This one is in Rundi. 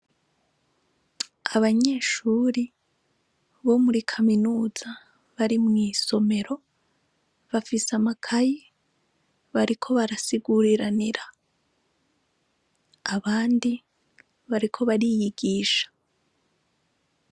Abanyeshuri bo muri kaminuza bari mw'isomro bafise amakaye bariko barasiguriranira abandi bariko bariyigisha.